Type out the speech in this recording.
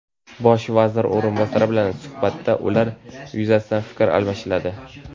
Bosh vazir o‘rinbosari bilan suhbatda ular yuzasidan fikr almashiladi.